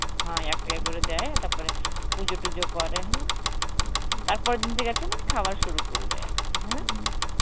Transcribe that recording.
হ্যাঁ ওই এক টাকা করে দেয় তারপরে, পুজো তুজ করে, তারপরের দিন থেকে আরকি মানে খাবার শুরু করবে আরকি